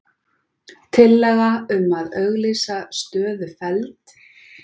Tillaga um að auglýsa stöðu felld